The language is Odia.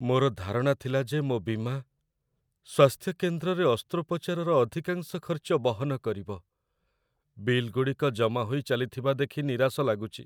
ମୋର ଧାରଣା ଥିଲା ଯେ ମୋ ବୀମା ସ୍ୱାସ୍ଥ୍ୟ କେନ୍ଦ୍ରରେ ଅସ୍ତ୍ରୋପଚାରର ଅଧିକାଂଶ ଖର୍ଚ୍ଚ ବହନ କରିବ। ବିଲ୍ ଗୁଡ଼ିକ ଜମା ହୋଇ ଚାଲିଥିବା ଦେଖି ନିରାଶ ଲାଗୁଛି।